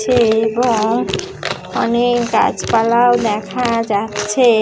ছে-এ এবং অনেক গাছপালা ও দেখা যাচ্ছে-এ।